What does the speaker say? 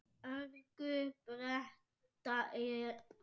örgu pretta táli.